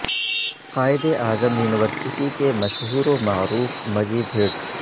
قائد Azam university کے مشہور و معروف مجید ہٹس